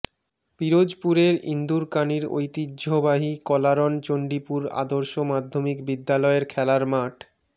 পিরোজপুরের ইন্দুরকানীর ঐতিহ্যবাহী কলারণ চন্ডিপুর আদর্শ মাধ্যমিক বিদ্যালয়ের খেলার মাঠ